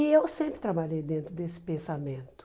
E eu sempre trabalhei dentro desse pensamento.